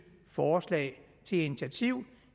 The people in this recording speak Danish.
forslag til et initiativ